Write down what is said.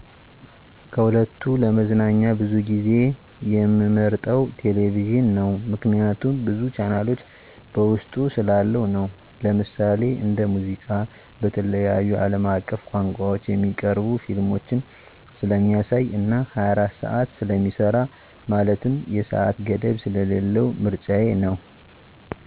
ከሁለቱ ለመዝናኛ ብዙ ጊዜየምመርጠዉ ቴሌቪዥን ነዉ ምክንያቱም ብዙ ቻናሎች በዉስጡ ስላለዉነዉ ለምሳሌ:-እንደ ሙዚቃ፣ በተለያዩ አለም አቀፍ ቋንቋዎች የሚቀርቡ ፊልሞችን ስለሚያሳይ እና 24 ሰዓት ስለሚሰራ ማለትም የሰአት ገደብ ስለሌለዉ ምርጫየ ነዉ።